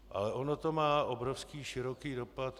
Ale ono to má obrovský široký dopad.